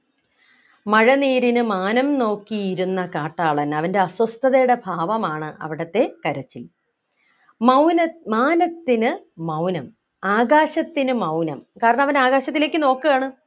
മഴനീരിനു മാനം നോക്കിയിരുന്ന കാട്ടാളൻ അവൻ്റെ അസ്വസ്ഥതയുടെ ഭാവമാണ് അവിടത്തെ കരച്ചിൽ മൗന മാനത്തിനു മൗനം ആകാശത്തിനു മൗനം കാരണം അവൻ ആകാശത്തിലേക്ക് നോക്കുകയാണ്